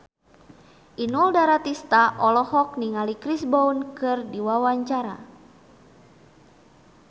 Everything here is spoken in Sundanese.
Inul Daratista olohok ningali Chris Brown keur diwawancara